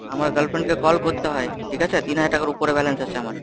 আমার girlfriend কে call করতে হয়, ঠিক আছে? তিন হাজার টাকার উপরে balance আছে আমার।